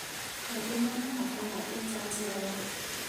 Angi monaga mbara ĩta njĩra ya